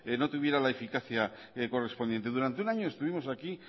no tuviera la eficacia correspondiente durante un año estuvimos aquí